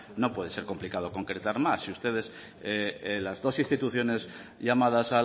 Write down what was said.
no puede ser complicado concretar más si ustedes las dos instituciones llamadas